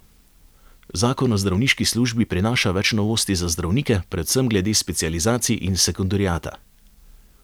Zakon o zdravniški službi prinaša več novosti za zdravnike, predvsem glede specializacij in sekundariata.